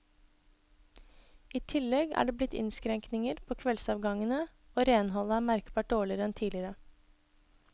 I tillegg er det blitt innskrenkninger på kveldsavgangene, og renholdet er merkbart dårligere enn tidligere.